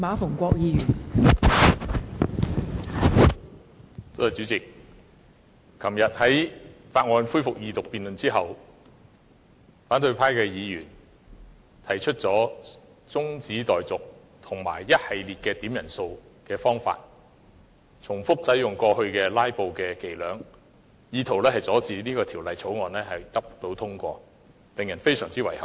代理主席，昨天《廣深港高鐵條例草案》恢復二讀辯論之後，反對派的議員提出了中止待續議案並透過多次點算法定人數的方法，反覆使用過去"拉布"的伎倆，意圖阻止《條例草案》獲得通過，令人非常遺憾。